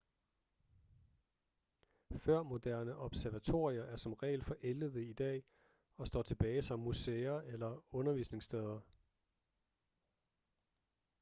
førmoderne observatorier er som regel forældede i dag og står tilbage som museer eller undervisningssteder